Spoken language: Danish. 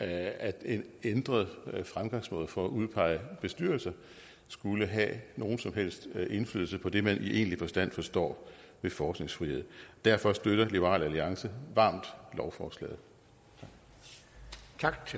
at en ændret fremgangsmåde for at udpege bestyrelser skulle have nogen som helst indflydelse på det man i egentlig forstand forstår ved forskningsfrihed derfor støtter liberal alliance varmt lovforslaget tak